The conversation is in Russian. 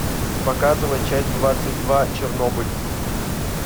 показывай часть двадцать два чернобыль